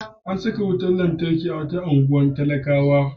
An saka wutar lantarki a wata unguwar talakawa.